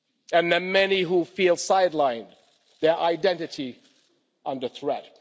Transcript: And the many who feel side lined, their identity under threat.